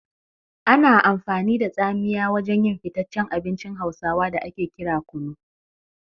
Ana amfani da tsamiya wajen yin fitaccen abincin hausawa da ake kira kunu.